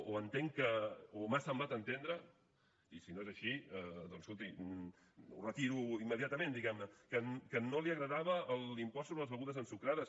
o m’ha semblat entendre i si no és així doncs escolti ho retiro immediatament que no li agradava l’impost sobre les begudes ensucrades